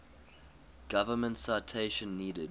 government citation needed